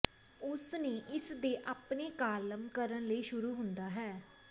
ਉਸ ਨੇ ਇਸ ਦੇ ਆਪਣੇ ਕਾਲਮ ਕਰਨ ਲਈ ਸ਼ੁਰੂ ਹੁੰਦਾ ਹੈ